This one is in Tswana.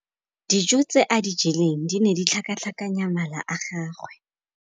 Dijô tse a di jeleng di ne di tlhakatlhakanya mala a gagwe.